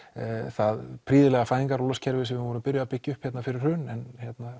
það prýðilega fæðingarorlofskerfi sem við vorum byrjuð að byggja upp hérna fyrir hrun en